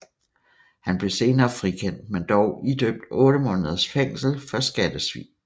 Han blev senere frikendt men dog idømt 8 måneders fængsel for skattesvig